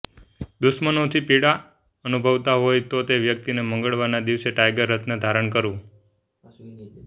દુશ્મનોથી પીડા અનુભવતા હોય તો તે વ્યક્તિએ મંગળવારના દિવસે ટાઇગર રત્ન ધારણ કરવું